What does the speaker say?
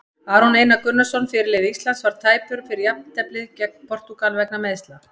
Aron Einar Gunnarsson, fyrirliði Íslands, var tæpur fyrir jafnteflið gegn Portúgal vegna meiðsla.